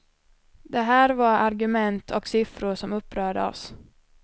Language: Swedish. Det här var argument och siffror som upprörde oss.